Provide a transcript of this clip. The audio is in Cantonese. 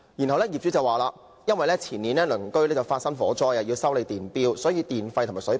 其後，業主表示，因為前年隔鄰發生火災，要修理電錶，所以要提高電費和水費。